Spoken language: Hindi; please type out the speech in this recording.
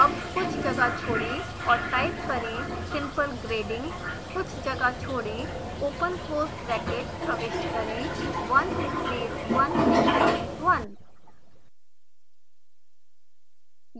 अब कुछ जगह छोड़ें और टाइप करें simple grading कुछ जगह छोड़ें ओपन क्लोज़ ब्रैकेट प्रविष्ट करें 1 space 1 space 1